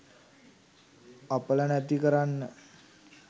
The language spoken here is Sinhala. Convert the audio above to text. අපල නැති කරන්න